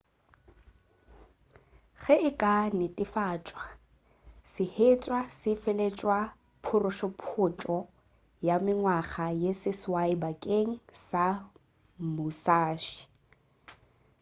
ge e ka netefatšwa sehwetša se feleletša phurophotšo ya mengwaga ye seswai bakeng sa musashi